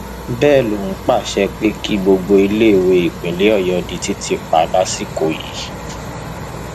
bẹẹ ló pàṣẹ pé kí gbogbo iléèwé nípínlẹ ọyọ di títì pa lásìkò yìí